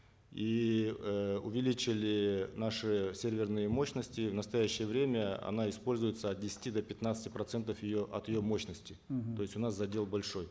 и э увеличили наши серверные мощности в настоящее время она используется от десяти до пятнадцати процентов ее от ее мощности мгм то есть у нас задел большой